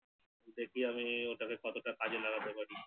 দেখবি আমি ওটাকে কতটা কাজে লাগাতে পারি